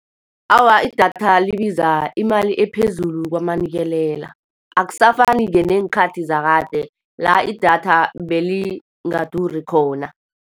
Awa, idatha libiza imali ephezulu kwamanikelela. Akusafani-ke neenkhathi zakade, la idatha belingaduri khona.